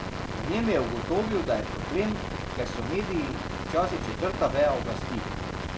V njem je ugotovil, da je problem, ker so mediji včasih četrta veja oblasti.